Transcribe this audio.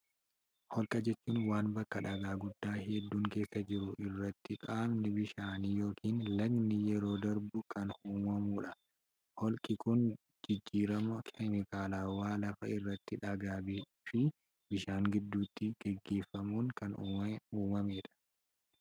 Holqa jechuun waan bakka dhagaa guddaa hedduun keessa jiru irratti qaamni bishaanii yookiin lagnii yeroo darbu kan uumamuu dha. Holqi kun jijjirama keemikaalawaa lafa irratti dhagaa fi bishaan gidduutti gaggeeffamuun kan uumamee dha.